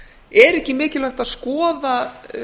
er ekki mikilvægt að skoða